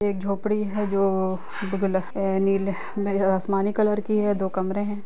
एक झोपड़ी है जो नीले आसमानी कलर की है दो कमरे है।